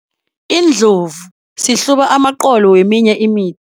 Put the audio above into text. Iindlovu sihluba amaqolo weminye imithi.